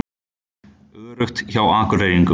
Öruggt hjá Akureyringum